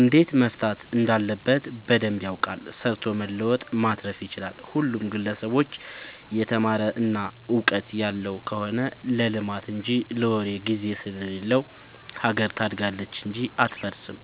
እንዴት መፍታት እንዳለበት በደንብ ያውቃል ሰርቶ መለወጥ ማትረፍ ይችላል። ሁሉም ግለሰብ የተማረ እና ውቀጥት ያለው ከሆነ ለልማት እንጂ ለወሬ ግዜ ስለሌለው ሀገር ታድጋለች እንጂ አትፈርስም።